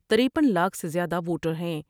ترپن لاکھ سے زیادہ ووٹر ہیں ۔